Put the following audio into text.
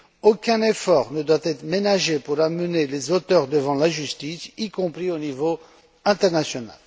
Aucun effort ne doit être ménagé pour amener les auteurs devant la justice, y compris au niveau international.